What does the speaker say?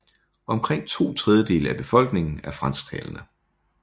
Omkring to tredjedele af befolkningen er fransktalende